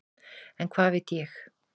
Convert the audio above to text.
En hvað veit ég.